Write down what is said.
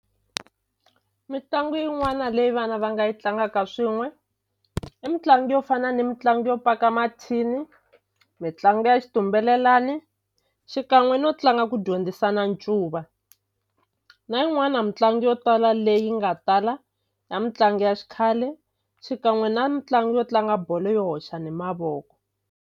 Mitlangu yin'wana leyi vana va nga yi tlangaka swin'we i mitlangu yo fana ni mitlangu yo paka mathini mitlangu ya xitumbelelani xikan'we no tlanga ku dyondzisana ncuva na yin'wana mutlangi yo tala leyi nga tala ya mutlangi ya xikhale xikan'we na mitlangu yo tlanga bolo yo hoxana hi mavoko.